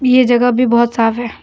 यह जगह भी बहुत साफ है।